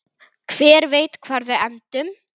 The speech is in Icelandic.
Hver veit hvar við endum?